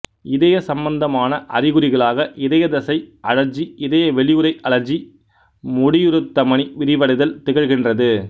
இதய சம்பந்தமான அறிகுறிகளாக இதயத் தசை அழற்சி இதய வெளியுறை அழற்சி முடியுருத் தமனி விரிவடைதல் திகழ்கின்றது